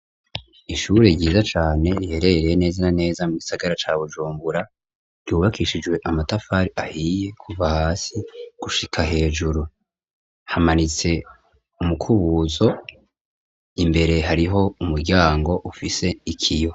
Ishure ryiza cane riherereye neza na neza mugisagara ca bujumbura ryubakishijwe amatafari ahiye Kuva hasi gushika hejuru hamanitse umukubuzo hariho umwango ufise ikiyo.